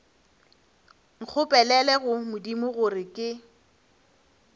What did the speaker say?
nkgopelele go modimo gore ke